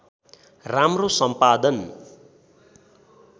राम्रो सम्पादन